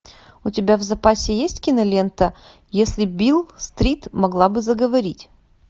у тебя в запасе есть кинолента если бил стрит могла бы заговорить